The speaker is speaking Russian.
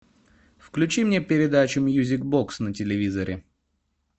включи мне передачу мьюзик бокс на телевизоре